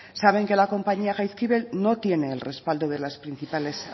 saben que la compañía jaizkibel no tiene el respaldo de las principales